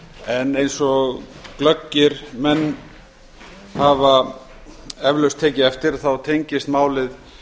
en eins og glöggir menn hafa eflaust tekið eftir þá tengist málið